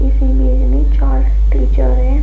इस इमेज में चार टीचर हैं।